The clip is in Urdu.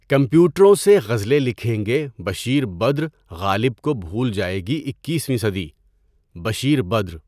کمپیوٹروں سے غزلیں لکھیں گے بشیر بدرؔ غالبؔ کو بھول جائے گی اکیسویں صدی (بشیر بدر)